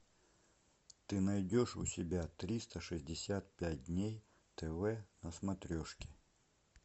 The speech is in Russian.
ты найдешь у себя триста шестьдесят пять дней на смотрешке